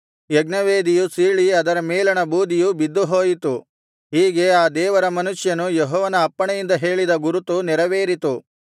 ಯಜ್ಞವೇದಿಯು ಸೀಳಿ ಅದರ ಮೇಲಣ ಬೂದಿಯು ಬಿದ್ದುಹೋಯಿತು ಹೀಗೆ ಆ ದೇವರ ಮನುಷ್ಯನು ಯೆಹೋವನ ಅಪ್ಪಣೆಯಿಂದ ಹೇಳಿದ ಗುರುತು ನೆರವೇರಿತು